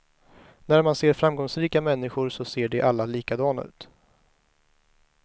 När man ser framgångsrika människor så ser de alla likadana ut.